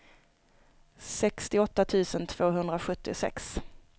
sextioåtta tusen tvåhundrasjuttiosex